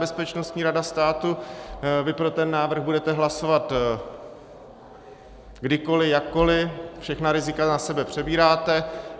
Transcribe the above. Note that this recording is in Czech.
Bezpečnostní rada státu, vy pro ten návrh budete hlasovat kdykoli, jakkoli, všechna rizika na sebe přebíráte.